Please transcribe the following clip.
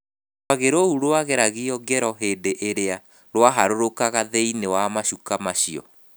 Rwagĩ rũu rwageragio ngero hĩndĩ ĩrĩa rwaharũrũkaga thĩinĩ wa macuka macio.